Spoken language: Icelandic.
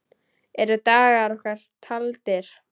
Eru dagar okkar taldir?